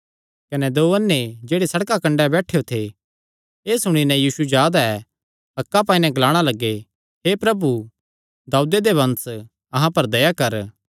कने दो अन्ने जेह्ड़े सड़का कंडे बैठेयो थे एह़ सुणी नैं कि यीशु जा दा ऐ हक्कां पाई नैं ग्लाणा लग्गे हे प्रभु दाऊदे दे वंश अहां पर दया कर